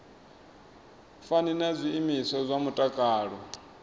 fani na zwiimiswa zwa mutakalo